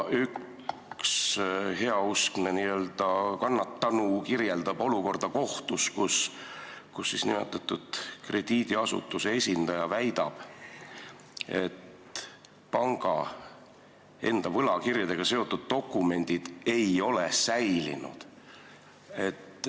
Üks heausksetest n-ö kannatanutest kirjeldas olukorda kohtus, kus nimetatud krediidiasutuse esindaja väitis, et panga enda võlakirjadega seotud dokumendid ei ole säilinud.